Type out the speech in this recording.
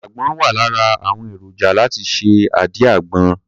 Àgbọn wà lára àwọn èròjà láti ṣe àdí àgbọn.